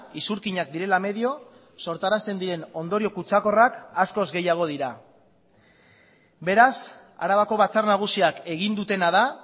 isurkinak direla medio sortarazten diren ondorio kutsakorrak askoz gehiago dira beraz arabako batzar nagusiak egin dutena da